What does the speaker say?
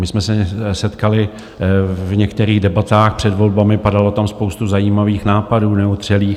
My jsme se setkali v některých debatách před volbami, padala tam spousta zajímavých nápadů neotřelých.